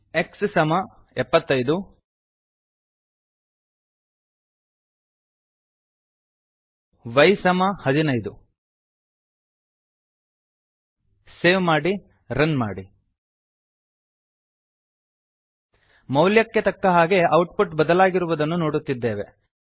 x75ಎಕ್ಸ್ ಸಮ ಎಪ್ಪತ್ತೈದುy 15 ವೈ ಸಮ ಹದಿನೈದು ಸೇವ್ ಮಾಡಿ ರನ್ ಮಾಡಿ ಮೌಲ್ಯಕ್ಕೆ ತಕ್ಕಹಾಗೆ ಔಟ್ ಪುಟ್ ಬದಲಾಗಿರುವುದನ್ನು ನೋಡುತ್ತಿದ್ದೇವೆ